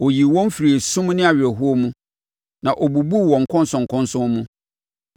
Ɔyii wɔn firii esum ne awerɛhoɔ mu na ɔbubuu wɔn nkɔnsɔnkɔnsɔn mu.